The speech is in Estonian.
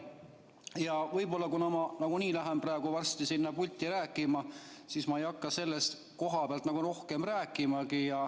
Ja võib-olla, kuna ma nagunii lähen varsti sinna pulti rääkima, ma ei hakka sellest kohapealt rohkem rääkimagi.